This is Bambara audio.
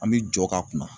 An bɛ jɔ ka kunna